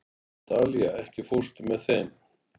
Dalía, ekki fórstu með þeim?